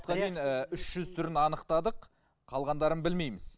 үш жүз түрін анықтадық қалғандарын білмейміз